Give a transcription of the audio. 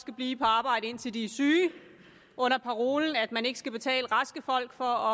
skal blive på arbejde indtil de er syge under parolen at man ikke skal betale raske folk for